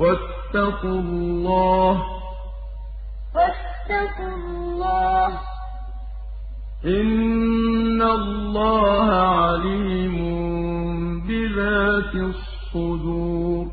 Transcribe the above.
وَاتَّقُوا اللَّهَ ۚ إِنَّ اللَّهَ عَلِيمٌ بِذَاتِ الصُّدُورِ